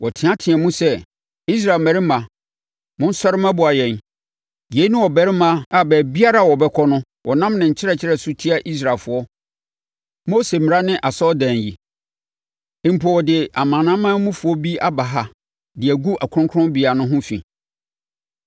Wɔteateaam sɛ, “Israel mmarima, monsɔre mmɛboa yɛn! Yei ne ɔbarima a baabiara a ɔbɛkɔ no ɔnam ne nkyerɛkyerɛ so tia Israelfoɔ, Mose mmara ne asɔredan yi. Mpo ɔde amanamanmufoɔ bi aba ha de agu Kronkronbea ha ho fi.”